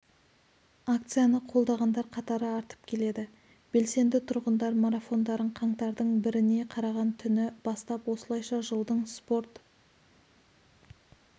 акцияны қолдағандар қатары артып келеді белсенді тұрғындар марафондарын қаңтардың біріне қараған түні бастап осылайша жылдың спорт